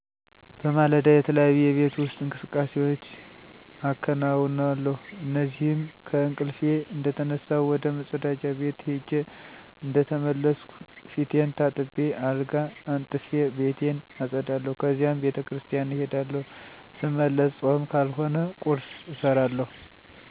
በማለዳ, የተለያዩ የቤት ውስጥ እንቅስቃሴዎች አከነውነለሁ እነዚህም :-ከእንቅልፊ እንደተነሳሁ ወደ መፀዳጃ ቤት ሄጀ እንደተመለስኩ ፊቴን ታጥቤ አልጋ አንጥፊ፣ ቤቴን አፀዳለሁ ከዚያም ቤተክርሰቲያን እሄዳለሁ ሰመለሰ ፆም ካልሆነ ቁርሰ እሰራለሁ፣ የተመገብኩበት እቃወችን እና ማታ ያላሰተካከልኩት ወይም ያለፀዳሁት ነገር ካለ እሱን አፀዳለሁ፣ ለሰላሳ ደይቃ መፀሐፍ አነባለሁ ሰጨርሰ ምሳ እና እራት በአንድ እሰራለሁ፣ ምሳ በልች እደጨረሰኩ ብና እጣለሁ ምሸት ላይ ወክ አደርጋለሁ።